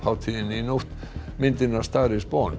hátíðinni í nótt myndin a star is